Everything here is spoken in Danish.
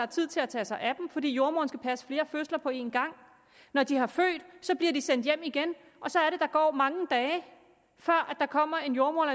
tid til at tage sig af dem fordi jordemoderen skal passe flere fødende på én gang når de har født bliver de sendt hjem igen og så er det der går mange dage før der kommer en jordemoder